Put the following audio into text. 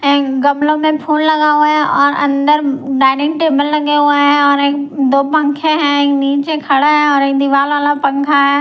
गमलों में फूल लगा हुआ हैऔर अंदर डाइनिंग टेबल लगे हुए हैं और एक दो पंखे हैं एक नीचे खड़ा है और एक दीवार वाला पंखा है।